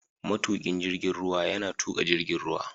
Matukin jirgin ruwa yana tuka jirgin ruwa.